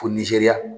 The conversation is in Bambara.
Fo nizeriya